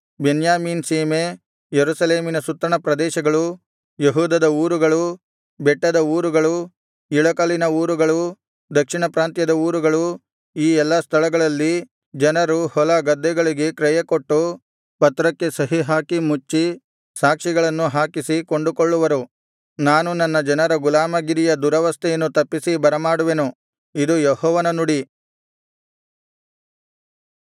ಬೆನ್ಯಾಮೀನ್ ಸೀಮೆ ಯೆರೂಸಲೇಮಿನ ಸುತ್ತಣ ಪ್ರದೇಶಗಳು ಯೆಹೂದದ ಊರುಗಳು ಬೆಟ್ಟದ ಊರುಗಳು ಇಳಕಲಿನ ಊರುಗಳು ದಕ್ಷಿಣಪ್ರಾಂತ್ಯದ ಊರುಗಳು ಈ ಎಲ್ಲಾ ಸ್ಥಳಗಳಲ್ಲಿ ಜನರು ಹೊಲ ಗದ್ದೆಗಳಿಗೆ ಕ್ರಯಕೊಟ್ಟು ಪತ್ರಕ್ಕೆ ಸಹಿಹಾಕಿ ಮುಚ್ಚಿ ಸಾಕ್ಷಿಗಳನ್ನು ಹಾಕಿಸಿ ಕೊಂಡುಕೊಳ್ಳುವರು ನಾನು ನನ್ನ ಜನರ ಗುಲಾಮಗಿರಿಯ ದುರವಸ್ಥೆಯನ್ನು ತಪ್ಪಿಸಿ ಬರಮಾಡುವೆನು ಇದು ಯೆಹೋವನ ನುಡಿ